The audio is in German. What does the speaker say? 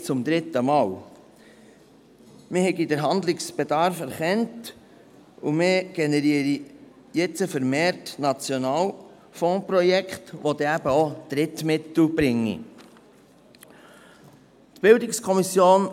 Die Verantwortlichen der PH Bern versicherten, man habe den Handlungsbedarf erkannt und generiere nun vermehrt Nationalfondsprojekte, welche dann auch Drittmittel bringen würden.